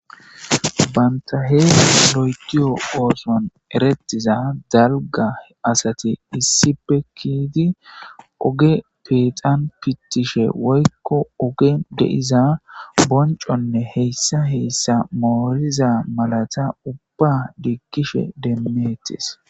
banta heee lo7etiyo ooson erettiza dalga asati issippe kiiti oge peexan pittishe woykko ogen de7iza bonconne heyssa heyssa mooriza malata ubba diikkishe demmettes